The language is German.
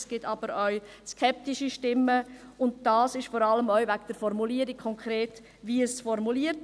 Es gibt aber auch skeptische Stimmen, vor allem wegen der konkreten Formulierung.